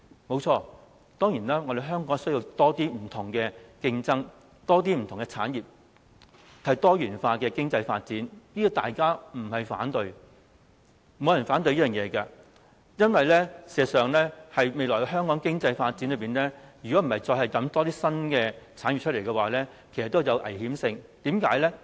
不錯，香港當然需要多一些不同的競爭、不同的產業，以及多元化的經濟發展，這個大家不會反對的，因為事實上，如果在香港未來的經濟發展中再也沒有一些新產業，便會有危險性，為甚麼呢？